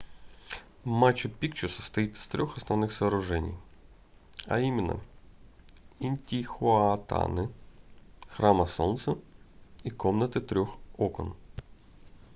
мачу-пикчу состоит из трёх основных сооружений а именно интихуатаны храма солнца и комнаты трёх окон